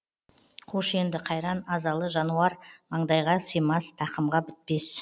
қош енді қайран азалы жануармаңдайға симас тақымға бітпес